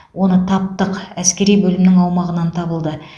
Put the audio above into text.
оны таптық әскери бөлімнің аумағынан табылды